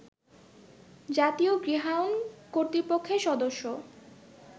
জাতীয় গৃহায়ন কর্তৃপক্ষের সদস্য